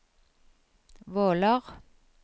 Våler